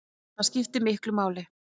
Það skiptir miklu máli